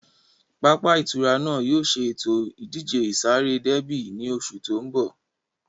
Pápá ìtura náà yóò ṣe ètò ìdíje ìsáré déébì ní oṣù tó ń bọ̀